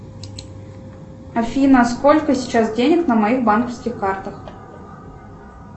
афина сколько сейчас денег на моих банковских картах